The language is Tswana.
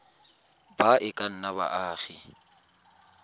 ba e ka nnang baagi